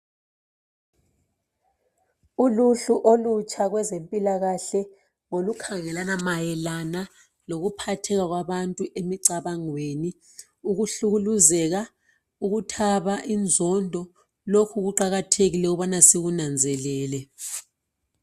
uluhlu olutsha kwezempilakahle ngolukhangelana mayela lokuphatheka kwabantu emicabangweni ukuhlukuluzeka ukuthaba inzondo lokhu kuqakathekile ukubana sikunanzelele